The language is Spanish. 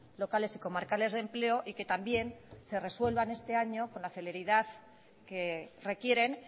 locales y comarcales de empleo y que también se resuelvan este año con la celeridad que requieren